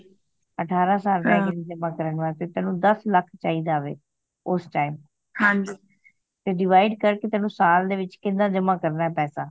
ਅਠਾਰਹ ਸਾਲ ਰਹਿ ਗਏ ਨੇ ਜਮਾ ਕਰਣ ਵਾਸਤੇ ਤੈਨੂੰ ਦੱਸ ਲੱਖ ਚਾਹੀਦਾ ਵੇ ਉਸ time ਤੇ decide ਕਰ ਕਿ ਤੈਨੂੰ ਸਾਲ ਦੇ ਵਿਚ ਕਿਹਨਾਂ ਜਮਾ ਕਰਨਾ ਪੈਸਾ